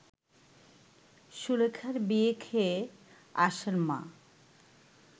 সুলেখার বিয়ে খেয়ে আসেন মা